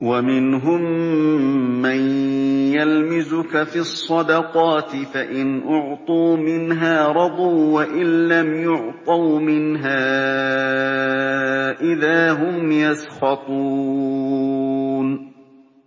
وَمِنْهُم مَّن يَلْمِزُكَ فِي الصَّدَقَاتِ فَإِنْ أُعْطُوا مِنْهَا رَضُوا وَإِن لَّمْ يُعْطَوْا مِنْهَا إِذَا هُمْ يَسْخَطُونَ